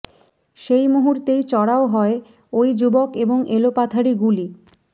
সেই মুহূর্তেই চড়াও হয় ওই যুবক এবং এলোপাথাড়ি গুলি